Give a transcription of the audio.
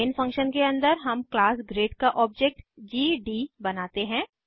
main function के अंदर हम क्लास ग्रेड का ऑब्जेक्ट जीडी बनाते हैं